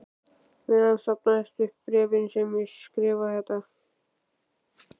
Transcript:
meðan safnast upp bréfin sem ég skrifa þér.